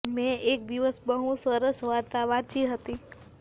મેં એક દિવસ બહુ જ સરસ વાર્તા વાંચી હતી